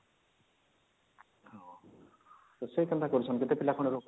କେତେ ପିଲା ଖଣ୍ଡେ ରଖୁଛନ